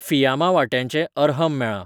फियामा वांट्याचें अरहम मेळ्ळां.